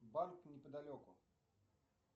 банк неподалеку